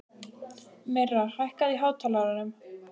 Myrra, hækkaðu í hátalaranum.